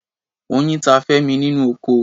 Oyin ta Femi nínú oko.